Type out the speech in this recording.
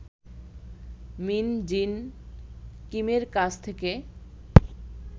মিন Jin কিমের কাছ থেকে